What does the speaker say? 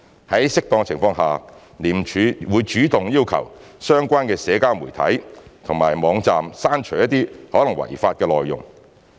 在適當情況下，廉署會主動要求相關的社交媒體平台或網站刪除一些可能違法的內容。